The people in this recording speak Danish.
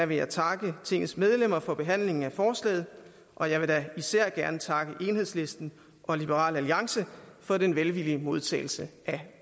vil jeg takke tingets medlemmer for behandlingen af forslaget og jeg vil da især gerne takke enhedslisten og liberal alliance for den velvillige modtagelse af